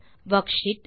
worksheet